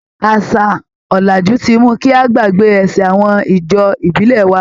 Àṣà ọ̀làjú ti mú kí a gbàgbé ẹsẹ̀ awọn ijó ìbílẹ̀ wa.